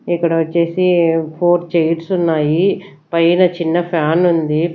ఇక్కడ వచ్చేసి four chairs ఉన్నాయి పైన చిన్న ఫ్యాన్ ఉంది.